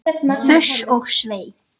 Fuss og svei!